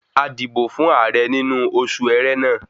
A dìbò fún ààrẹ nínú osù ẹ̀rẹ́na